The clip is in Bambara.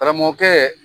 Karamɔgɔkɛ